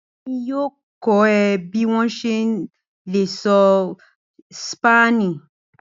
Bẹẹni, Emi yoo kọ ọ bi o ṣe le sọ Spani.